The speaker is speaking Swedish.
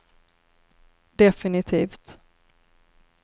definitivt